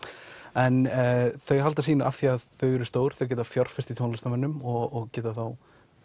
en þau halda sínu af því þau eru stór þau geta fjárfest í tónlistarmönnum og geta þá